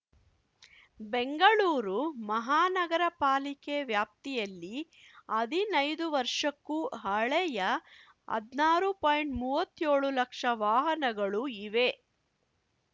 ಬೆಂಗಳೂರು ಮಹಾನಗರ ಪಾಲಿಕೆ ವ್ಯಾಪ್ತಿಯಲ್ಲಿ ಹದಿನೈದು ವರ್ಷಕ್ಕೂ ಹಳೆಯ ಹದ್ನಾರು ಪಾಯಿಂಟ್ಮೂವತ್ತೇಳು ಲಕ್ಷ ವಾಹನಗಳು ಇವೆ